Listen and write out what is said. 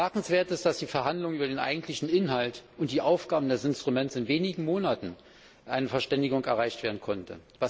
Bemerkenswert ist, dass bei den Verhandlungen über den eigentlichen Inhalt und die Aufgaben des Instruments in wenigen Monaten eine Verständigung erreicht werden konnte.